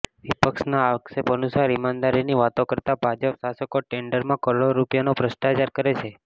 વિપક્ષના આક્ષેપ અનુસાર ઇમાનદારીની વાતો કરતા ભાજપ શાસકો ટેન્ડરમાં કરોડો રૂપિયાનો ભ્રષ્ટાચાર કરે છે